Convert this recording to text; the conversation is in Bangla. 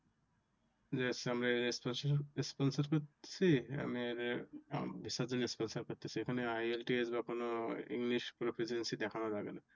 যে হচ্ছে আমরা Sponsorship করতেছি এখানে IELTS কোনো english profeciency দেখানো লাগে না।